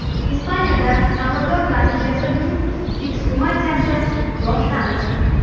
Ispaniyada Salvador Dali jasadining eksgumatsiyasi boshlandi.